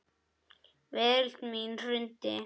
Veröld mín hrundi.